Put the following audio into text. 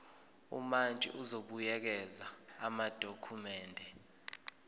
umantshi uzobuyekeza amadokhumende